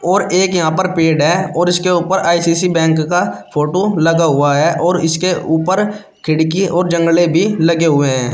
और एक यहां पर पेड़ है और इसके ऊपर आई_सी_सी बैंक का फोटो लगा हुआ है और इसके ऊपर खिड़की और जंगले भी लगे हुए हैं।